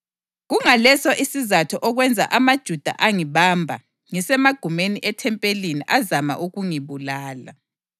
Kungaleso isizatho okwenza amaJuda angibamba ngisemagumeni ethempeli azama ukungibulala.